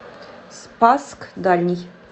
спасск дальний